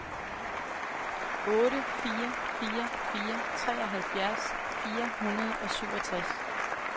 otte fire fire fire treoghalvfjerds fire hundrede og syvogtres